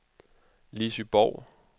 Lissy Borg